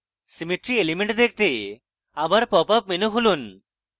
symmetry elements দেখতে আবার popup menu খুলুন